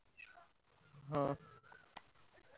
ହଁ।